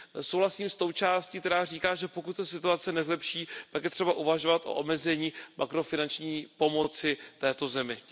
Souhlasím s tou částí, která říká, že pokud se situace nezlepší, je třeba uvažovat o omezení makrofinanční pomoci této zemi.